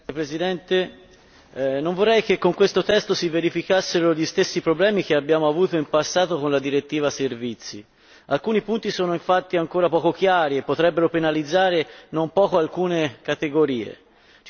Signora Presidente, onorevoli colleghi, non vorrei che con questo testo si verificassero gli stessi problemi che abbiamo avuto in passato con la direttiva servizi, alcuni punti sono infatti ancora poco chiari e potrebbero penalizzare, non poco, alcune categorie.